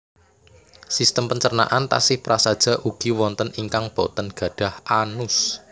Sistem pencernaan taksih prasaja ugi wonten ingkang boten gadhah anus